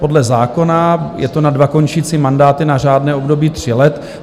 Podle zákona je to na dva končící mandáty na řádné období tří let.